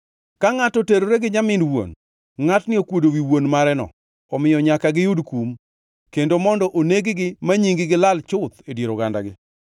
Ka ngʼato oterore gi nyamin wuon, ngʼatni okuodo wi wuon mareno, omiyo nyaka giyud kum, kendo mondo oneg-gi ma nying-gi lal chuth e dier ogandagi.